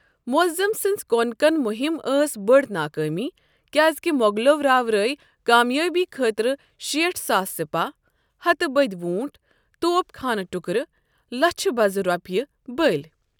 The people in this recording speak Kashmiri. معظم سٕنٛز کونکن مہم ٲس بٔڑ ناکٲمی كیازِكہِ مو٘غلو راوٕرٲوۍ كامیٲبی خٲطرٕ شیٖٹھ ساس سپاہ، ہتہٕ بٔدِۍ ووٗنٛٹٹ، توپ خانہٕ ٹکرٕ، لچھہِ بزٕ روپیہ، بٔلِۍ۔